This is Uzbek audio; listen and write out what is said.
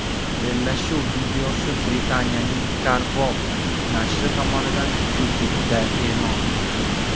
Bellashuv videosi Britaniyaning CarWow nashri tomonidan YouTube’da e’lon qilindi .